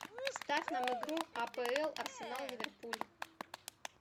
ставь нам игру апл арсенал ливерпуль